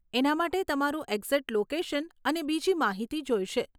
એના માટે તમારું એક્ઝેક્ટ લોકેશન અને બીજી માહિતી જોઈશે.